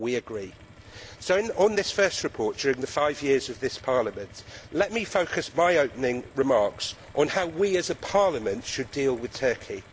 We agree. So, on this first report during the five years of this Parliament, let me focus my opening remarks on how we as a Parliament should deal with Turkey.